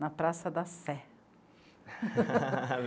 na Praça da Sé.